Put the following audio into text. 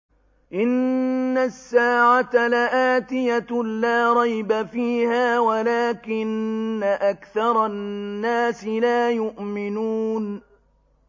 إِنَّ السَّاعَةَ لَآتِيَةٌ لَّا رَيْبَ فِيهَا وَلَٰكِنَّ أَكْثَرَ النَّاسِ لَا يُؤْمِنُونَ